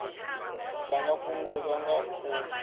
dza nga fhungudzwa nga u